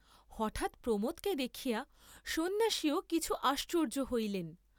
হঠাৎ প্রমোদকে দেখিয়া সন্ন্যাসীও কিছু আশ্চর্য্য হইলেন।